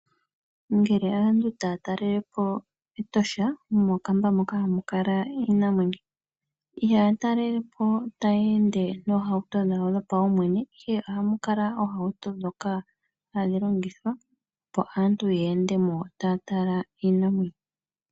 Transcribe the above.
Ngele aantu taya talelepo Etosha. Mokamba moka hamu kala iinamwenyo . Ihaya talelepo tayeende noohauto dhawo dho paumwene. Ihe ohamu kala oohauto ndhoka hadhi longithwa opo aantu yeende mo taya tala iinamwenyo.